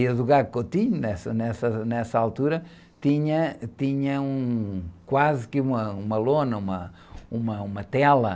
E, nessa, nessa, nessa altura, tinha, tinha um, quase que uma, uma lona, uma, uma, uma tela.